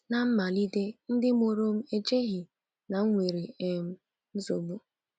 Ná mmalite, ndị mụrụ m echeghị na m nwere um nsogbu.